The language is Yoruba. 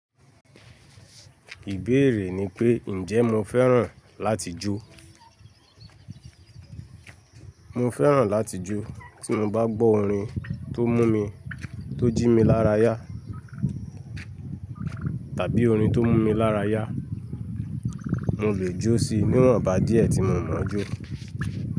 Ìbéèrè ni pé, ǹjẹ́ mo fẹ́ràn láti jó? Mo fẹ́ràn láti jó tí mo bá gbọ́ orin tó mú mi, tó jí mi lára yá. Tàbí orin tó mú mi lára yá. Mo le jó sí, níwonbà díẹ̀ tí mo mo jó.